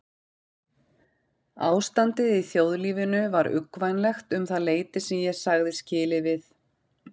Ástandið í þjóðlífinu var uggvænlegt um það leyti sem ég sagði skilið við